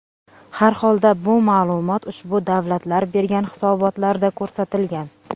Harholda bu ma’lumot ushbu davlatlar bergan hisobotlarda ko‘rsatilgan.